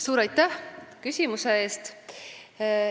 Suur aitäh küsimuse eest!